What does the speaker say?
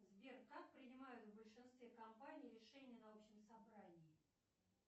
сбер как принимают в большинстве компаний решение на общем собрании